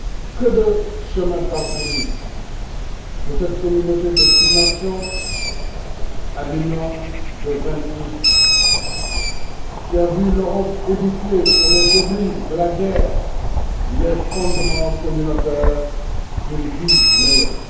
Que de chemin parcouru, de cette communauté de six nations à l'Union de vingt huit qui a vu l'Europe édifier, sur les débris de la guerre, les fondements communautaires d'une vie meilleure!